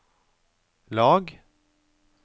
lag